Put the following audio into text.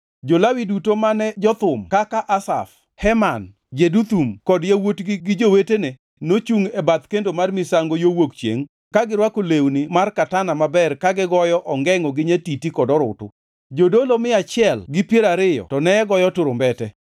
Jo-Lawi duto mane jothum kaka Asaf, Heman, Jeduthun kod yawuotgi gi jowetene nochungʼ e bath kendo mar misango yo wuok chiengʼ ka girwako lewni mar katana maber ka gigoyo ongengʼo gi nyatiti kod orutu. Jodolo mia achiel gi piero ariyo to ne goyo turumbete.